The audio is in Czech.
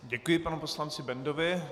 Děkuji panu poslanci Bendovi.